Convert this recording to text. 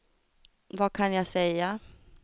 vad kan jag säga